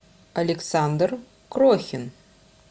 александр крохин